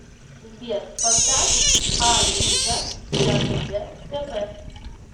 сбер поставь а иза я хз тп